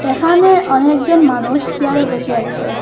এখানে অনেকজন মানুষ চেয়ারে বসে আসেন ।